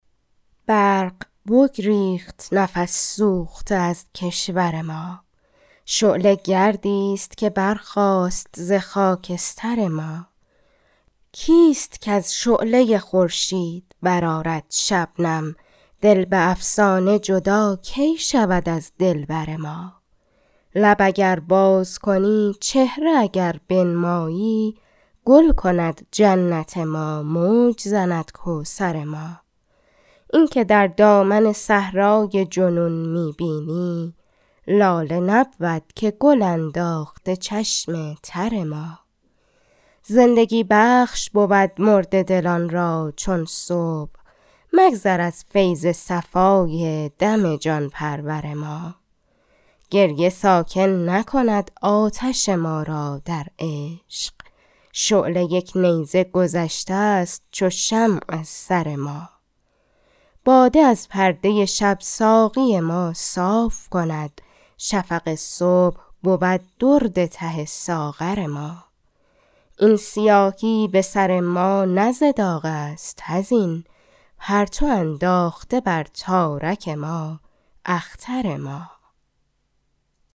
برق بگریخت نفس سوخته از کشور ما شعله گردی ست که برخاست ز خاکستر ما کیست کز شعله خورشید برآرد شبنم دل به افسانه جدا کی شود از دلبر ما لب اگر باز کنی چهره اگر بنمایی گل کند جنت ما موج زند کوثر ما این که در دامن صحرای جنون می بینی لاله نبود که گل انداخته چشم تر ما زندگی بخش بود مرده دلان را چون صبح مگذر از فیض صفای دم جان پرور ما گریه ساکن نکند آتش ما را در عشق شعله یک نیزه گذشته ست چو شمع از سر ما باده از پرده شب ساقی ما صاف کند شفق صبح بود درد ته ساغر ما این سیاهی به سر ما نه ز داغ است حزین پرتو انداخته بر تارک ما اختر ما